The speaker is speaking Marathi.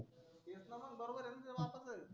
तेच ना मग बरोबर आहे त्याच्या बापाचं.